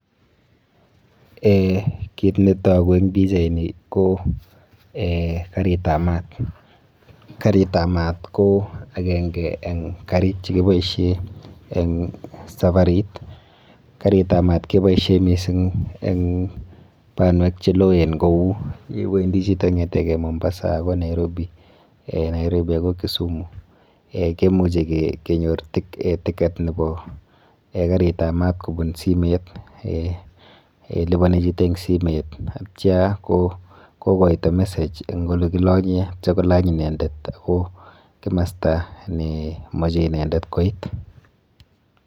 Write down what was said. Kiit ne togu eng pichaini ko karitab maat. Karitab maat ko agenge eng karit che kiboisie eng saparit. Karitab maat ke boisie mising eng banwek che loen kou iwendi chito ng'etege Mombasa agoi Nairobi, Nairobi agoi Kisumu. Kemuche kenyoru ticket nebo karuitab maat kobun simet. Lipani chito eng simet ye tya ko koito message eng ole kilanye kityo kolany inendet ako kimosta ne mache inendet koit.